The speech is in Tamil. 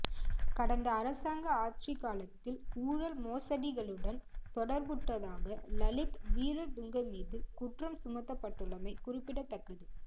கடந்த அரசாங்க ஆட்சிக் காலத்தில் ஊழல் மோசடிகளுடன் தொடர்புட்டதாக லலித் வீரதுங்க மீது குற்றம் சுமத்தப்பட்டுள்ளமை குறிப்பிடத்தக்கது